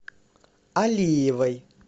алиевой